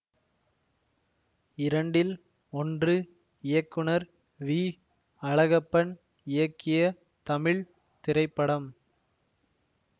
இரண்டில் ஒன்று இயக்குனர் வி அழகப்பன் இயக்கிய தமிழ் திரைப்படம்